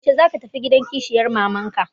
Yaushe za ka tafi gidan kishiyar mama ka?